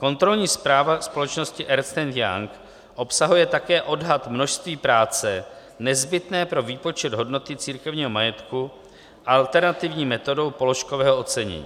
Kontrolní zpráva společnosti Ernst and Young obsahuje také odhad množství práce nezbytné pro výpočet hodnoty církevního majetku alternativní metodou položkového ocenění.